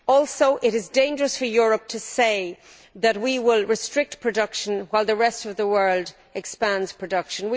Also, it is dangerous for Europe to say that we will restrict production while the rest of the world expands production.